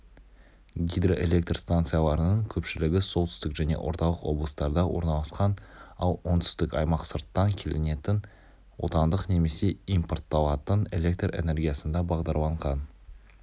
гидроэлектр станцияларының көпшілігі солтүстік және орталық облыстарда орналасқан ал оңтүстік аймақ сырттан келінетін отандық немесе импортталатын электр энергиясына бағдарланған